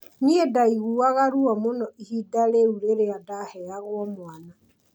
Nĩ ndaiguaga ruo mũno ihinda rĩu rĩrĩa ndaheagwo mwana